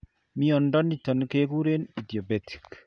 Mnyondo niton keguren idiopathic